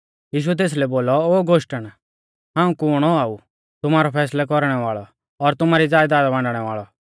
यीशुऐ तेसलै बोलौ ओ गोष्टण हाऊं कुण औआ ऊ तुमारौ फैसलौ कौरणै वाल़ौ और तुमारी ज़यदाद बांटणै वाल़ौ